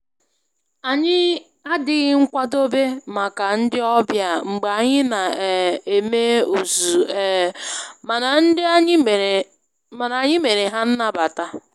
Anyị adịghị nkwadobe maka ndị ọbịa mgbe anyị na um eme ozuzu, um mana anyị mere ha nnabata